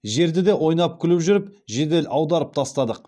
жерді де ойнап күліп жүріп жедел аударып тастадық